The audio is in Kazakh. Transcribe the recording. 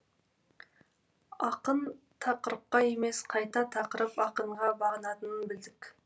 ақын тақырыпқа емес қайта тақырып ақынға бағынатынын білдік